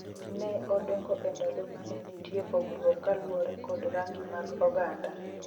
ne odongo e ndalo mane nitie pogruok kaluwore kod rangi mag oganda